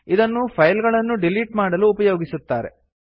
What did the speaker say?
ಇದನ್ನು ಫೈಲ್ ಗಳನ್ನು ಡಿಲಿಟ್ ಮಾಡಲು ಉಪಯೋಗಿಸುತ್ತಾರೆ